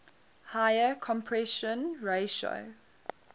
higher compression ratio